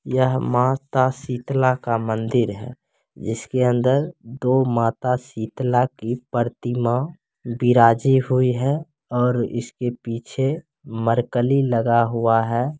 यह माँ शीतला का मंदिर है इसके अंदर दो माता शीतला की प्रतिमा विराजमान हुई है और इसके पीछे मर्करी लगा हुआ है ।